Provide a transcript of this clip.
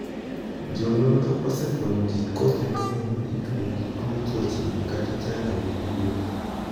Jo nonro osefwenyo kit kothe mang'eny ma itudo gi tuo chochni (chandruok) gi wuoth.